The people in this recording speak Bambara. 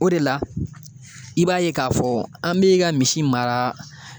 O de la i b'a ye k'a fɔ an bɛ ka misi mara